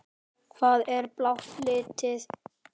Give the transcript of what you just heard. Hvað er blátt lítið?